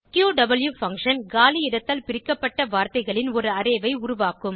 க்யூவ் function காலி இடத்தால் பிரிக்கப்பட்ட வார்த்தைகளின் ஒரு அரே ஐ உருவாக்கும்